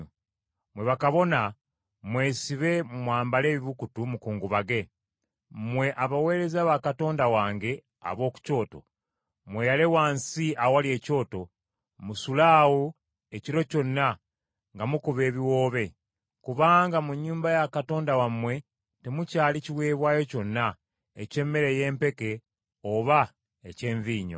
Mmwe bakabona, mwesibe mwambale ebibukutu mukungubage. Mmwe abaweereza ba Katonda wange ab’oku kyoto, mweyale wansi awali ekyoto, musule awo ekiro kyonna nga mukuba ebiwoobe, kubanga mu nnyumba ya Katonda wammwe temukyali kiweebwayo kyonna, eky’emmere ey’empeke oba eky’envinnyo.